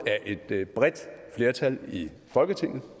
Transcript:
af et bredt flertal i folketinget